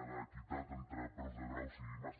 de l’equitat entre preus de graus i màsters